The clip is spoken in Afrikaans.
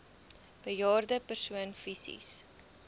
bejaarde persoon fisies